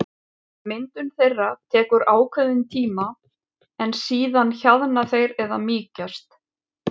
Myndun þeirra tekur ákveðinn tíma en síðan hjaðna þeir eða mýkjast.